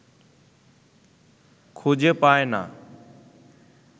খুঁজে পায় না